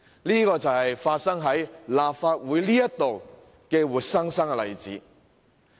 這便是發生在立法會的活生生例子。